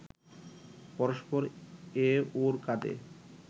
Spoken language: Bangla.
পরস্পর এ ওর কাঁধে